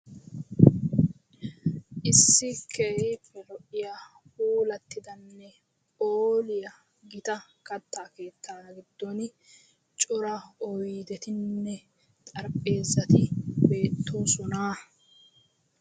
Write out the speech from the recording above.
issi keeppe lo''iya puulattidanne phooliyaa gita kattaa keetta giddon cora oydetinnne xarppheezati beettoosonaa